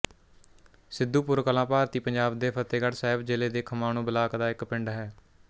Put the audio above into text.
ਸਿੱਧੂਪੁਰ ਕਲਾਂ ਭਾਰਤੀ ਪੰਜਾਬ ਦੇ ਫ਼ਤਹਿਗੜ੍ਹ ਸਾਹਿਬ ਜ਼ਿਲ੍ਹੇ ਦੇ ਖਮਾਣੋਂ ਬਲਾਕ ਦਾ ਇੱਕ ਪਿੰਡ ਹੈ